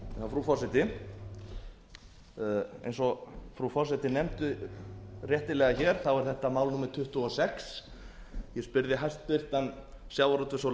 frú forseti eins og frú forseti nefndi réttilega hér er þetta mál númer tuttugu og sex ég spurði hæstvirtum sjávarútvegs og